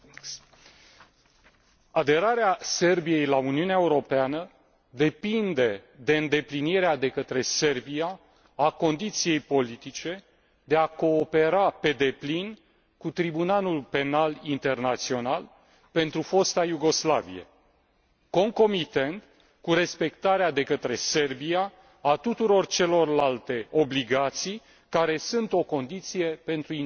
Aderarea Serbiei la Uniunea Europeană depinde de îndeplinirea de către Serbia a condiției politice de a coopera pe deplin cu Tribunalul Penal Internațional pentru fosta Iugoslavie, concomitent cu respectarea de către Serbia a tuturor celorlalte obligații care sunt o condiție pentru integrarea în Uniune.